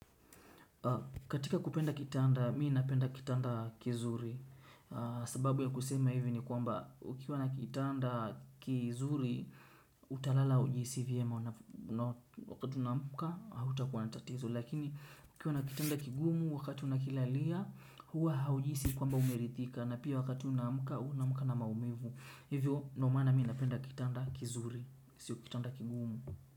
Katika kupenda kitanda mi napenda kitanda kizuri sababu ya kusema hivi ni kwamba ukiwa na kitanda kizuri utalala ujiisi vyema wakati unaamka hautakuwa na tatizo lakini ukiwa na kitanda kigumu wakati una kilalia huwa haujisi kwamba umerithika na pia wakati una muka unaamuka na maumivu. Hivyo nomana mi napenda kitanda kizuri sio kitanda kigumu.